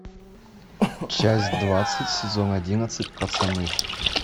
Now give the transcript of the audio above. часть двадцать сезон одиннадцать пацаны